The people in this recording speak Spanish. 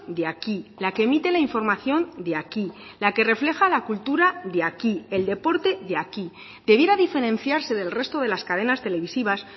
de aquí la que emite la información de aquí la que refleja la cultura de aquí el deporte de aquí debiera diferenciarse del resto de las cadenas televisivas